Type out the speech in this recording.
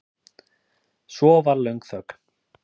Svo var löng þögn.